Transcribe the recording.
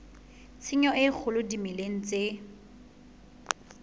tshenyo e kgolo dimeleng tse